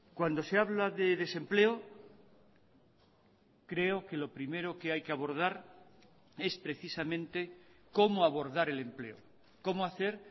cuando se habla de desempleo creo que lo primero que hay que abordar es precisamente cómo abordar el empleo cómo hacer